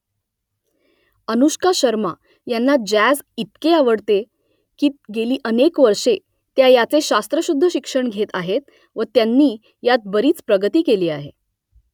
अनुष्का शर्मा यांना जॅझ इतके आवडते की गेली अनेक वर्षे त्या याचे शास्त्रशुद्ध शिक्षण घेत आहेत व त्यांनी यात बरीच प्रगती केली आहे